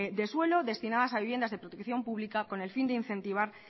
de suelo destinadas a viviendas de protección públicas con el fin de incentivar